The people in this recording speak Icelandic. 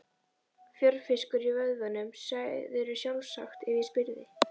Fjörfiskur í vöðvunum, segðirðu sjálfsagt ef ég spyrði.